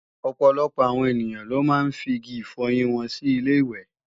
Ọ̀pọ̀lọpọ̀ awon ènìyàn ló máa ń figi ifọyín wọn sí ilé-ìwẹ̀